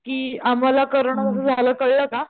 कि आम्हला कोरोना जस झालं कळलं का,